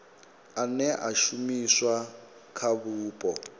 ane a shumiswa kha vhupo